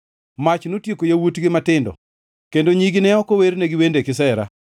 Mach notieko yawuotgi matindo, kendo nyigi ne ok owernegi wende kisera;